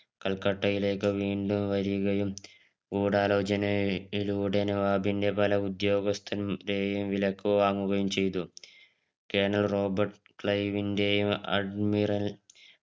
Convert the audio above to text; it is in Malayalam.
കൽക്കട്ടയിലേക്ക് വീണ്ടും വരികയും ഗൂഢാലോചന യിലൂടെ നവാബിൻറെ പല ഉദ്യോഗസ്ഥൻ രെയും വിലക്ക് വാങ്ങുകയും ചെയ്തു കെർണൽ റോബർട്ട് ക്ലയിം ൻറെയും അഡ്മിറൽ